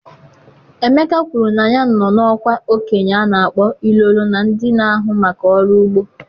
Emeka kwuru na ya nọ n'ọkwa okenye a na-akpọ Ilolo na ndị na-ahụ maka ọrụ ugbo.